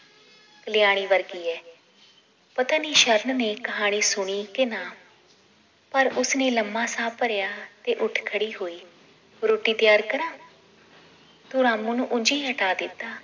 ਕਲਿਆਣੀ ਵਰਗੀ ਏ ਪਤਾਨੀ ਸ਼ਰਨ ਨੇ ਕਹਾਣੀ ਸੁਣੀ ਕੇ ਨਾ ਪਰ ਉਸਨੇ ਲੰਮਾ ਸਾਹ ਭਰਿਆ ਤੇ ਉੱਠ ਖੜੀ ਹੋਈ ਰੋਟੀ ਤਿਆਰ ਕਰਾਂ ਤੂੰ ਰਾਮੁ ਨੂੰ ਉਂਝ ਹੀ ਹਟਾ ਦਿੱਤਾ